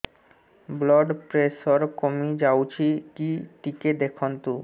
blood pressure କମି ଯାଉଛି କି ଟିକେ ଦେଖନ୍ତୁ